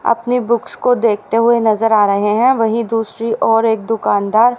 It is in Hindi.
अपने बुक्स को देखते हुए नजर आ रहे हैं वहीं दूसरी ओर एक दुकानदार --